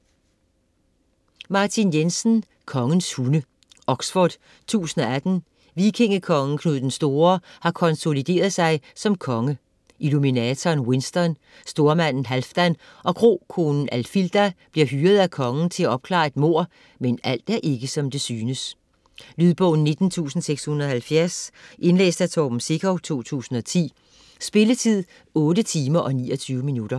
Jensen, Martin: Kongens hunde Oxford 1018. Vikingekongen Knud den Store har konsolideret sig som konge. Illuminatoren Winston, stormanden Halfdan og krokonen Alfilda bliver hyret af kongen til at opklare et mord, men alt er ikke, som det synes. Lydbog 19670 Indlæst af Torben Sekov, 2010. Spilletid: 8 timer, 29 minutter.